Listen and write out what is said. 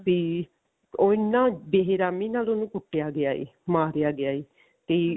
ਤੇ ਉਹ ਇੰਨਾ ਬਹਿ ਰਹਿਮੀ ਨਾਲ ਉਹਨੂੰ ਕੁੱਟਿਆ ਗਿਆ ਏ ਮਾਰਿਆ ਗਿਆ ਏ ਤੇ